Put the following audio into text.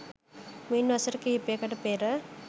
මින් වසර කිහිපයකට පෙර